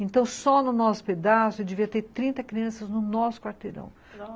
Então, só no nosso pedaço, devia ter trinta crianças no nosso quarteirão, nossa